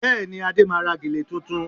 Bẹ́ẹ̀ni, Ade máa ra gèlè tuntun